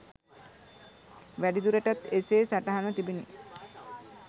වැඩිදුරටත් එසේ සටහන්ව තිබුණි.